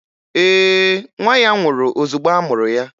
Ee, nwa ya nwụrụ ozugbo a mụrụ ya